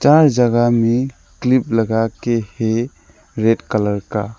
चार जगह में क्लिप लगाके है रेड कलर का।